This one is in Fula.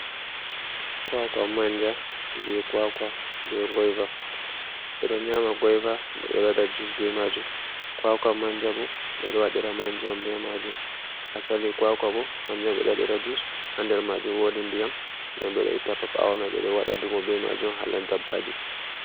Kwakwa manja be kwaka be goiva ɓeɗo nyama goiva bo ɓeɗo wada jus be majum kwakwa manja bo ɓeɗo waɗira manja be majum asali kwakwa bo kanjum ɓe ɗo waɗira jus hander majum wodi ndiyam jam ɓeɗo itta ɓao mai ɓe ɗo waɗa ɗuum be majum hala dabbaji